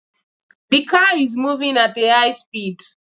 The car is moving at a high speed